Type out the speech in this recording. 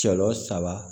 Sɔɔn saba